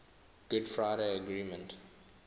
good friday agreement